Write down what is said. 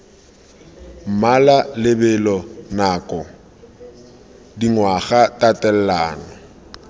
mmala lebelo nako dingwaga tatelano